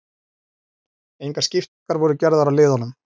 Engar skiptingar voru gerðar á liðunum